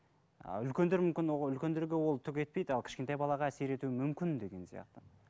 ы үлкендер мүмкін ол үлкендерге ол түк етпейді ал кішкентай балаға әсер етуі мүмкін деген сияқты